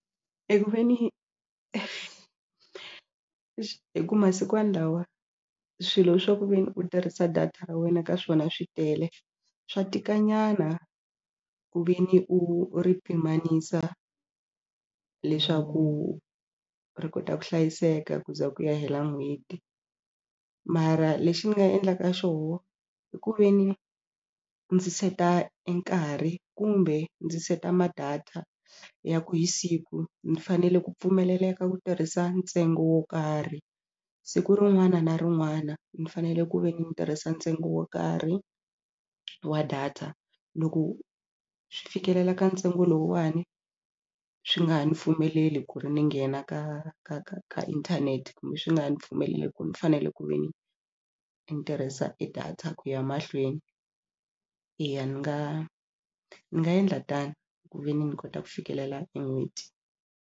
E ku ve ni hi ku masikwani lawa swilo swa ku ve ni u tirhisa data ra wena ka swona swi tele swa tika nyana ku ve ni u ri pimanisa leswaku ri kota ku hlayiseka ku za ku ya hela n'hweti mara lexi ni nga endlaka xoho i ku ve ni ndzi seta e nkarhi kumbe ndzi seta ma data ya ku hi siku ni fanele ku pfumeleleka ku tirhisa ntsengo wo karhi siku rin'wana na rin'wana ni fanele ku ve ni ni tirhisa ntsengo wo karhi wa data loko swi fikelela ka ntsengo lowuwani swi nga ha ni pfumeleli ku ri ni nghena ka ka ka ka inthanete kumbe swi nga ha ni pfumeleli ku ni fanele ku ve ni ni tirhisa e data ku ya mahlweni eya ni nga ni nga endla tano ku ve ni ni kota ku fikelela e n'hweti.